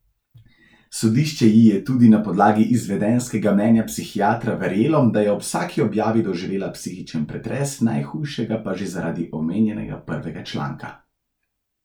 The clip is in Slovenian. Sodišče ji je tudi na podlagi izvedenskega mnenja psihiatra verjelo, da je ob vsaki objavi doživela psihičen pretres, najhujšega pa že zaradi omenjenega prvega članka.